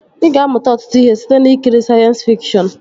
Ị ga-amụta ọtụtụ ihe site n'ikiri sayensị fikshọn